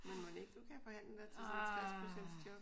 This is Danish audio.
Men mon ikke du kan forhandle dig til sådan et 60 procents job?